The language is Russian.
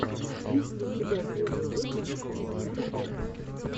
есть ли у тебя первый выпуск зиэм топ